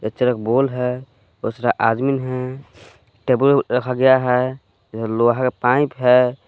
Picture एक बोल है दूसरा आदमीन है टेबल रखा गया है यह लोहे का पाइप है।